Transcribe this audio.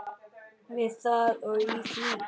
Við það og í því.